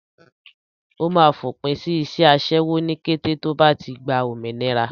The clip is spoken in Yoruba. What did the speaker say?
Ó máa fòpin sí iṣẹ́ aṣẹ́wó ní kété tí ó bá ti gba òmìnira.